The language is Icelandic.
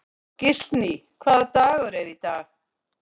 Gíslný, hvaða dagur er í dag?